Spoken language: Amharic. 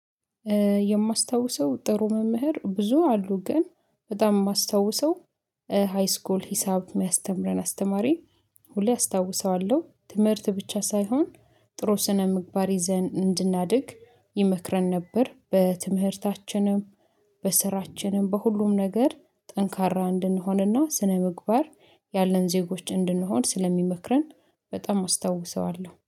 የማስታውሰው ጥሩ መምህር ብዙ አሉ ግን በጣም የማስታውሰው ሃይስኮል ሂሳብ የሚያስተምረን አስተማሪ ሁሌ አስታውሰዋለሁ ትምህርት ብቻ ሳይሆን ጥሩ ስነ ምግባር ይዘን እንድናድግ ይመክረን ነበር። በትምህርታችንም በስራችንም በሁሉም ነገር ጠንካራ እንድንሆንና ስነምግባር ያለን ዜጎች እንድንሆን ስለሚመክረን በጣም አስታውሰዋለሁ